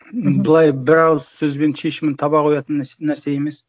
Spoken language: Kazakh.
мхм былай бір ауыз сөзбен шешімін таба қоятын нәрсе емес